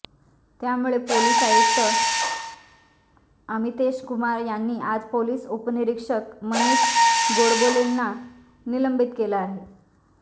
त्यामुळे पोलीस आयुक्त अमितेश कुमार यांनी आज पोलीस उपनिरीक्षक मनीष गोडबोलेला निलंबित केलं आहे